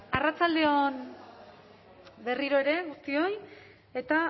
arratsalde on berriro ere guztioi eta